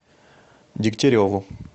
дегтяреву